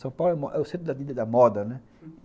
São Paulo é o centro da dita da moda, né?